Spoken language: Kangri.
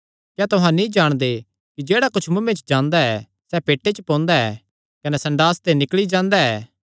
क्या तुहां नीं जाणदे कि जेह्ड़ा कुच्छ मुँऐ च जांदा सैह़ पेटे च पोंदा ऐ कने संडास ते निकल़ी जांदा ऐ